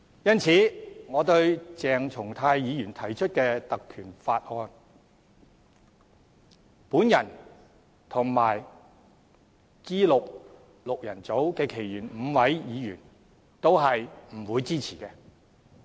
因此，對於鄭松泰議員提出的議案，我和 G6 的其餘5位議員均不會支持。